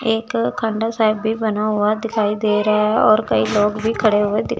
एक खंडर साइड भी बना हुआ दिखाई दे रहा है और कई लोग भी खड़े हुए दी--